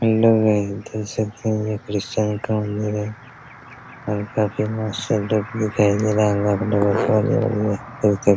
Christian का हल्का हल्का मॉइस्चर दिखाई